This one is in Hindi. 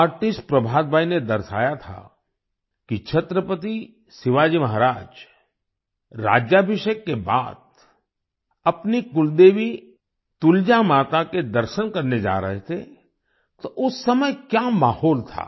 आर्टिस्ट प्रभात भाई ने दर्शाया था कि छत्रपति शिवाजी महाराज राज्याभिषेक के बाद अपनी कुलदेवी तुलजा माता के दर्शन करने जा रहे थे तो उस समय क्या माहौल था